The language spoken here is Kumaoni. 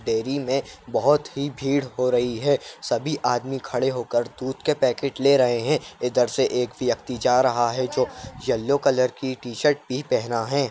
डेरी में बहोत ही भीड़ हो रही है सभी आदमी खड़े होकर दूध के पैकेट ले रहे हैं इधर से एक व्यक्ति जा रहा है जो येल्लो कलर की टी-शर्ट भी पहना है।